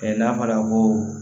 n'a fɔra ko